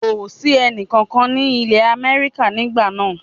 Kò sí ẹni kankan ní ìlé Amẹ́ríkà nígbà náà